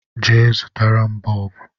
Je, zụtara m bọọbụ